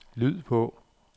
lyd på